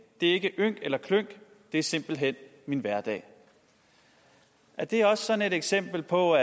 det er ikke ynk eller klynk det er simpelthen min hverdag er det også sådan et eksempel på